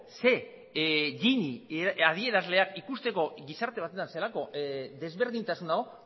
ze gini adierazleak ikusteko gizarte batzutan zelako desberdintasunak